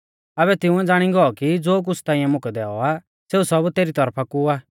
आबै तिंउऐ ज़ाणी गौ कि ज़ो कुछ़ ताइंऐ मुकै दैऔ आ सेऊ सब तेरी तौरफा कु आ